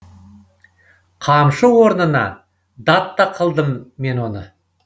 қамшы орнына дат та қылдым мен оны